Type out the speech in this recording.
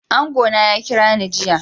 Angona ya kirani jiya.